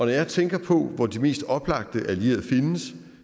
jeg tænker på hvor de mest oplagte allierede findes